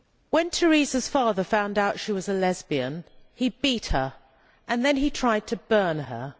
When Teresa's father found out she was a lesbian, he beat her and then he tried to burn her.